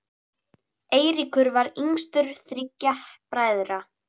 Eiríkur var yngstur þriggja bræðra.